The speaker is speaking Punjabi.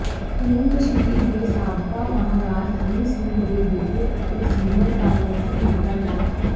ਹੁਣ ਕਸ਼ਮੀਰ ਦੇ ਸਾਬਕਾ ਮਹਾਰਾਜਾ ਹਰੀ ਸਿੰਘ ਦੇ ਬੇਟੇ ਅਤੇ ਸੀਨੀਅਰ ਕਾਂਗਰਸੀ ਨੇਤਾ ਡਾ